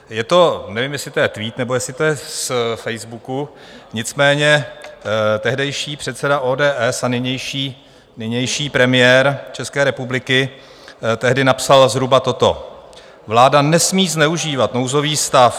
Je to, nevím, jestli to je tweet, nebo jestli to je z Facebooku, nicméně tehdejší předseda ODS a nynější premiér České republiky tehdy napsal zhruba toto: Vláda nesmí zneužívat nouzový stav.